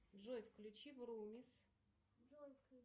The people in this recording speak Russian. джой включи врумис